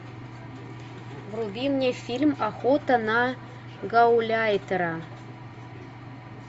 вруби мне фильм охота на гауляйтера